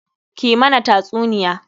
Ki mana tasuniya!